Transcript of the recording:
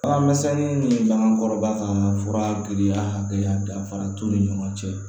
Alaminisɛnninw ni bagan kɔrɔba ka fura giriya hakɛya danfara t'u ni ɲɔgɔn cɛ